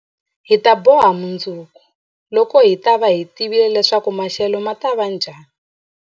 Hi ta boha mundzuku, loko hi ta va hi tivile leswaku maxelo ma ta va njhani.